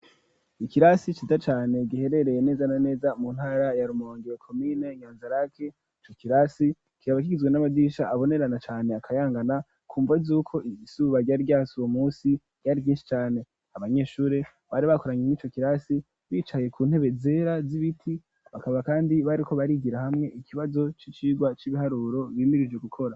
Ikirasi ciza cane giherereye neza na neza mu ntara ya Rumonge komine Nyanzarake, ico kirasi kikaba kigizwe n'amadirisha abonerana cane akayangana kumva zuko izuba ryari ryatse uwo munsi ryari ryinshi cane abanyeshuri bari bakoranye mwico kirasi bicaye ku ntebe zera z'ibiti bakaba kandi bariko barigira hamwe ikibazo c'icigwa c'ibiharuro bimirije gukora.